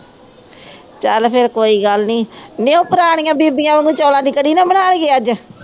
ਚਲ ਫੇਰ ਕੋਈ ਗੱਲ ਨੀ ਨਿ ਉਹ ਪ੍ਰਾਣੀਆਂ ਬੀਬੀਆਂ ਵਾਂਗੂ ਚੋਲਾ ਦੀ ਕੜੀ ਨਾ ਬਣਾ ਲਿਏ ਅੱਜ